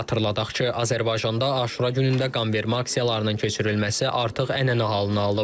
Xatırladaq ki, Azərbaycanda Aşura günündə qanvermə aksiyalarının keçirilməsi artıq ənənə halını alıb.